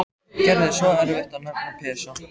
Gerði svo erfitt að nefna Pésa.